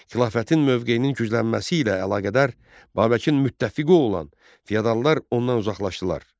Xilafətin mövqeyinin güclənməsi ilə əlaqədar Babəkin müttəfiqi olan feodallar ondan uzaqlaşdılar.